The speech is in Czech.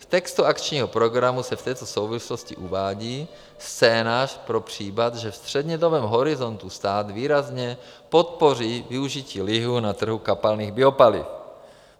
V textu akčního programu se v této souvislosti uvádí scénář pro případ, že ve střednědobém horizontu stát výrazně podpoří využití lihu na trhu kapalných biopaliv.